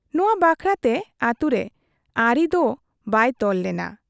ᱱᱚᱶᱟ ᱵᱟᱠᱷᱨᱟ ᱛᱮ ᱟᱹᱛᱩᱨᱮ ᱟᱨᱤ ᱫᱚ ᱵᱟᱭ ᱛᱚᱞ ᱞᱮᱱᱟ ᱾